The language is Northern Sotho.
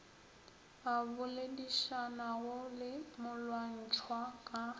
a boledišanago le molwantšhwa ka